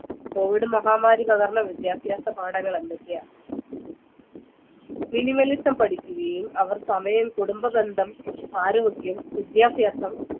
COVID മഹാമാരി പകർന്ന വിദ്യാഭ്യാസ പാഠങ്ങൾ എന്തൊക്കെയാ minimalism പഠിക്കുകയും അവർ സമയം കുടുംബ ബന്ധം ആരോഗ്യം വിദ്യാഭ്യാസം